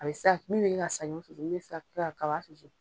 A bɛ sa min bɛ kɛ ka saɲɔn susu ulu bɛ se ka kɛ ka kaba susu.